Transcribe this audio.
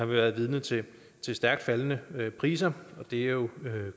været vidne til stærkt faldende priser og det er jo